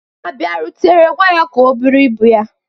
ọ bịarutere, gwa ya ka o bụrụ ibu ya